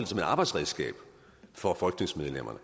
som et arbejdsredskab for folketingsmedlemmerne